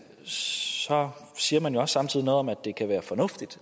så siger man jo også samtidig noget om at det kan være fornuftigt